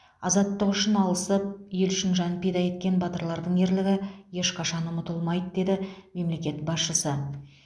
азаттық үшін алысып ел үшін жан пида еткен батырлардың ерлігі ешқашан ұмытылмайды деді мемлекет басшысы